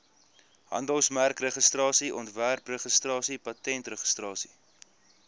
handelsmerkregistrasie ontwerpregistrasie patentregistrasie